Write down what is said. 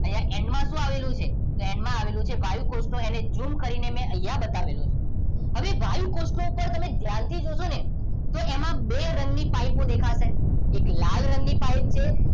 અહિયાં એંડ માં શું આવેલું છે એંડ માં આવેલું છે વાયુ કોષ્ઠ એને ઝૂમ કરી ને મેં અહિયાં બતાવેલું હતું હવે વાયુ કોષ્ઠ પર તમે ધ્યાનથી જોશો ને તો એમાં બે રંગ ની પાઇપ દેખાશે એક લાલ રંગ ની પાઇપ છે